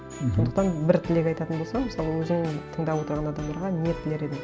мхм сондықтан бір тілек айтатын болсаң мысалы өзің тыңдап отырған адамдарға не тілер едің